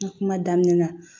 N ka kuma daminɛ na